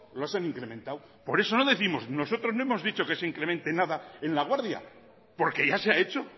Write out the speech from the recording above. los ha incrementado por eso no décimos nosotros no hemos dicho que se incremente nada en laguardia porque ya se ha hecho